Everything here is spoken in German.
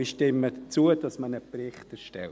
Ich stimme zu, dass man einen Bericht erstellt.